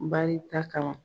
Barita kama.